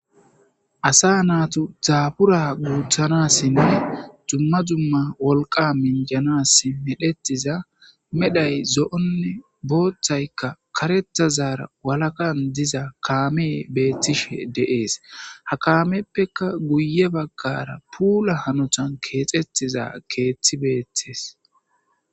Asa naytus dabura guthanasine duma duma wolqa minjanasi medhetiza medhay zo'one bothay ka karethazara walakan diza kamey betishe de'es ha kamepeka guye bagara pula hanotan kexetiza kethiy betes